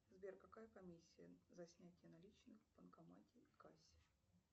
сбер какая комиссия за снятие наличных в банкомате и кассе